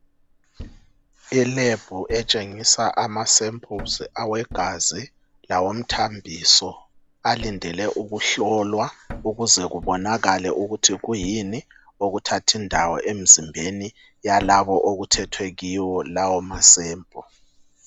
Elebhu etshengisa amasamples awegazi lawomthambiso, alindele ukuhlolwa ukuze kubonakale ukuthi kuyini okuthathindawo emzimbeni yalabo okuthethwe kibo lawo masample.